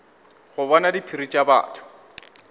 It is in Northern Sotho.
go bona diphiri tša batho